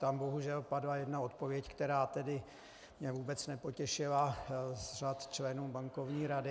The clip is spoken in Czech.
Tam bohužel padla jedna odpověď, která mě tedy vůbec nepotěšila, z řad členů Bankovní rady.